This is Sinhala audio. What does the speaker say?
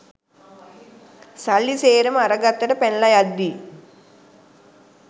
සල්ලි සේරම අර ගත්තට පැනලා යද්දි